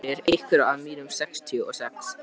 Hefnd fyrir einhvern af mínum sextíu og sex.